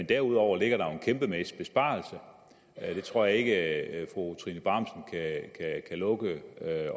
derudover ligger der jo en kæmpemæssig besparelse det tror jeg ikke at fru trine bramsen kan lukke